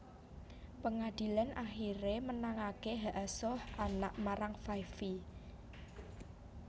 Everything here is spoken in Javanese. Pangadilan akiré menangaké hak asuh anak marang Five Vi